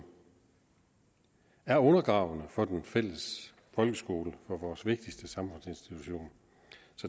er undergravende for den fælles folkeskole for vores vigtigste samfundsinstitution